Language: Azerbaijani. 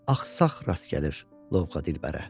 Bir axsaq rast gəlir lovğa dilbərə.